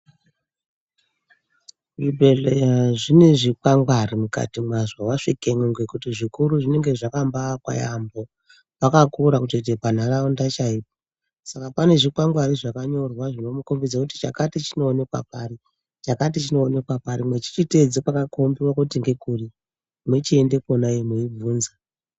Zvibhedhleya zvine zvikwangwari mukati mwazvo wasvikemwo ngekuti zvikuru zvinenge zvakambaakwa yaambo pakakura kutoite panharaunda chaipo. Saka pane zvikwangwari zvakanyorwa zvinomukombedze kuti chakati chinoonekwa pari, chakati chinoonekwa pari, mwechichiteedze pakakombewa kuti ngekuri mwochienda kona iyoyo mweibvunza.